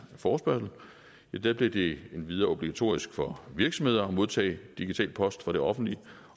forespørgsel blev det endvidere obligatorisk for virksomheder at modtage digital post fra det offentlige